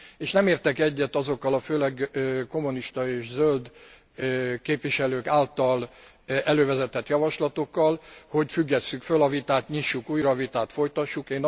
És nem értek egyet azokkal a főleg kommunista és zöld képviselők által elővezetett javaslatokkal, hogy függesszük föl a vitát, nyissuk újra a vitát, folytassuk.